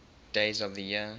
days of the year